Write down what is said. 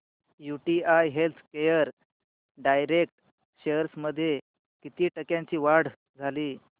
UTI healthcare direct shares मध्ये किती टक्क्यांची वाढ झाली